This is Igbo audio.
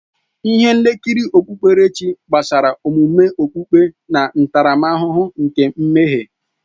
Ihe nkiri okpukpe gbasara omume okpukpe na ntaramahụhụ nke mmehie.